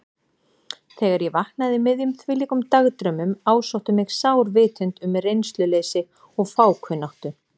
Þegar ég vaknaði í miðjum þvílíkum dagdraumum ásótti mig sár vitund um reynsluleysi og fákunnáttu.